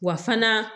Wa fana